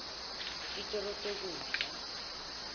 titolo tekudla